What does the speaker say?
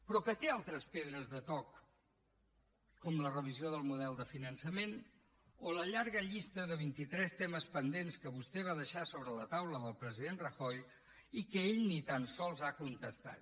però que té altres pedres de toc com la revisió del model de finançament o la llarga llista de vintitres temes pendents que vostè va deixar sobre la taula del president rajoy i que ell ni tan sols ha contestat